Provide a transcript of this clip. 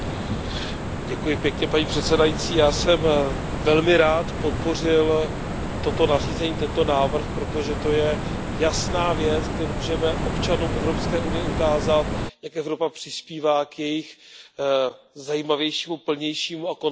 Paní předsedající, já jsem velmi rád podpořil toto nařízení, tento návrh, protože to je jasná věc, kde můžeme občanům Evropské unie ukázat, jak Evropa přispívá k jejich zajímavějšímu, plnějšímu a komfortnějšímu životu.